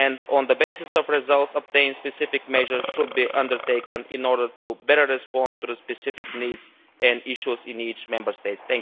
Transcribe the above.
On the basis of results obtained, specific measures should be undertaken in order to better respond to the specific needs and issues in each Member State.